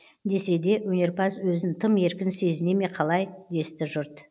десе де өнерпаз өзін тым еркін сезіне ме қалай десті жұрт